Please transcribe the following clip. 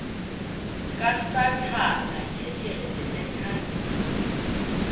kasathana yeyele ethangeni